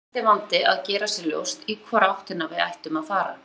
Þá var næsti vandi að gera sér ljóst í hvora áttina við ættum að fara.